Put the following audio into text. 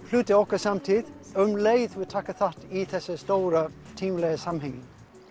hluti af okkar samtíð um leið og við tökum þátt í þessu stóra tímalega samhengi